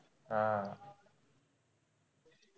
हा.